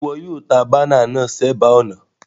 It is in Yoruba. Sé wo yio banner náà sébàá ònà